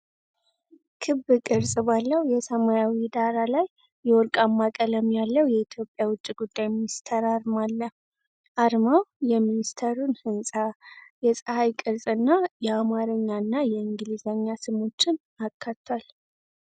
ክብ ቅርጽ ባለው የሰማያዊ ዳራ ላይ የወርቅማ ቀለም ያለው የኢትዮጵያ ውጭ ጉዳይ ሚኒስቴር አርማ አለ። አርማው የሚኒስቴሩን ህንፃ፣ የፀሐይ ቅርጽና የአማርኛና የእንግሊዝኛ ስሞችን አካቷል።